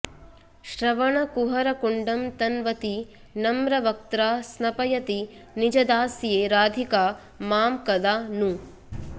श्रवणकुहरकुण्डं तन्वती नम्रवक्त्रा स्नपयति निजदास्ये राधिका मां कदा नु